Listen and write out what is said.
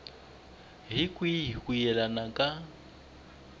hi kwihi ku yelana ka